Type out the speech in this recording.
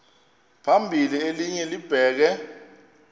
phambili elinye libheke